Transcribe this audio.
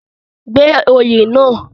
gba oyè náà